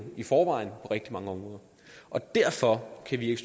i forvejen rigtig mange områder derfor kan vi ikke